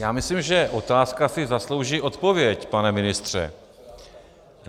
Já myslím, že otázka si zaslouží odpověď, pane ministře.